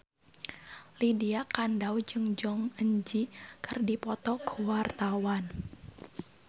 Lydia Kandou jeung Jong Eun Ji keur dipoto ku wartawan